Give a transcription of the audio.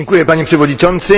Panie Przewodniczący!